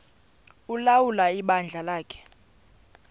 ulawula ibandla lakhe